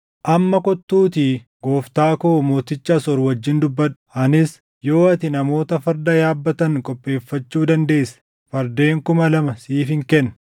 “ ‘Amma kottuutii gooftaa koo mooticha Asoor wajjin dubbadhu; anis yoo ati namoota farda yaabbatan qopheeffachuu dandeesse fardeen kuma lama siifin kenna!